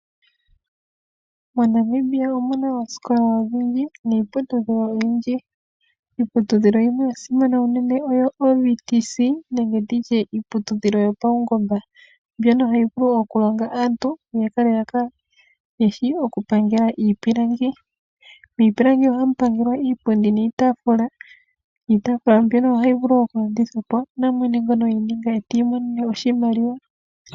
MoNamibia omuna oosikola odhindji kiiputudhilo oyindji. Iiputudhilo oyindji yasimana shinene oyo iiputudhilo yopawungomba mbyono hayi vulu oku longa aantu ya kale yeshi oku pangela iipilangi. Miipilangi. mono ohamu pangelwa iipundi niitafula. Iitafula mbyono ohayi vulu oku landithwa po namwe ti imonene oshimaliwa.